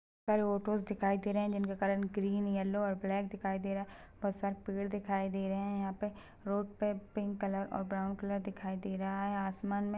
--पर ऑटोस देखाई दे रहा है जिनका कलर ग्रीन येलो और ब्लैक दिखाई दे रहा है बहोत सारे पेड़ दिखाई दे रहे है यहा पे रोड पर पिंक कलर और ब्राउन कलर दिखाई दे रहा है आसमान मे --